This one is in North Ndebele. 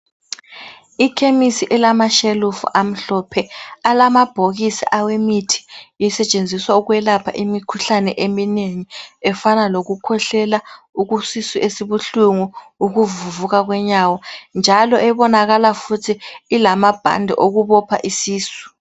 I khemisi elamashelufu amhlophe alamabhokisi awemithi isetshenziswa ukwelapha imikhuhlane eminengi, efana lokukhwehlela, isisu esibuhlungu ukuvuvuka kwenyawo njalo ebonakala futhi ilamabhanti okubopha isisu.